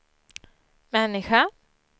människa